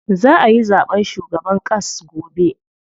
Za ayi zaɓen shugaban ƙass gobe.